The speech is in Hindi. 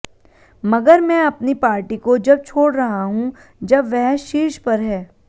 मगर मैं अपनी पार्टी को जब छोड़ रहा हूं जब वह शीर्ष पर है